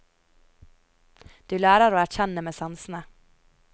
Du lærer å erkjenne med sansene.